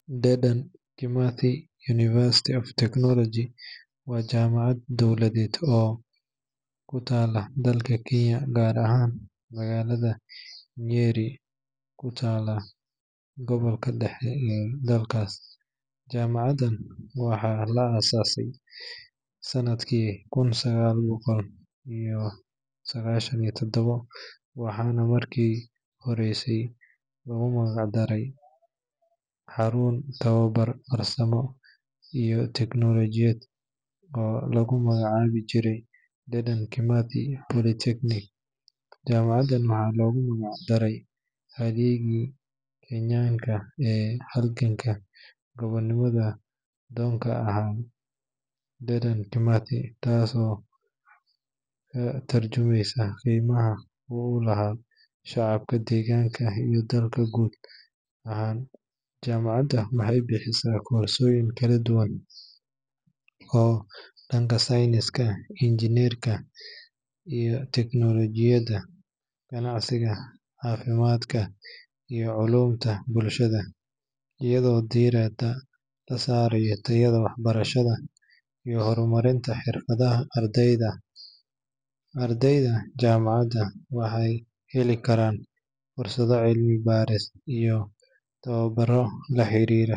Dedan Kimathi University of Technology waa jaamacad dowladeed oo ku taalla dalka Kenya, gaar ahaan magaalada Nyeri oo ku taalla gobolka dhexe ee dalkaas. Jaamacaddan waxaa la aasaasay sanadkii kun sagaal boqol sagaashan iyo toddoba waxaana markii hore loogu magac daray xarun tababar farsamo iyo teknolojiyad oo lagu magacaabi jiray Dedan Kimathi Polytechnic. Jaamacaddan waxaa loogu magac daray halyeeyga Soomaaliyeed ee halganka gobonimo-doonka ahaa, Dedan Kimathi, taasoo ka tarjumaysa qiimaha uu u leeyahay shacabka deegaanka iyo dalka guud ahaan. Jaamacadda waxay bixisaa koorsooyin kala duwan oo dhanka sayniska, injineerinka, teknolojiyadda, ganacsiga, caafimaadka, iyo culuumta bulshada, iyadoo diiradda la saarayo tayada waxbarashada iyo horumarinta xirfadaha ardayda. Ardayda jaamacadda waxay heli karaan fursado cilmi baaris iyo tababarro la xiriira.